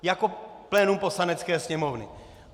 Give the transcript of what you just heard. Jako plénum Poslanecké sněmovny.